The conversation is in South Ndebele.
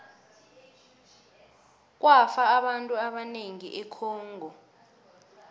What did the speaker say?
kwafa abantu abanengi econgo